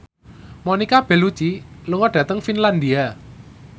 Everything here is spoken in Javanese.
Monica Belluci lunga dhateng Finlandia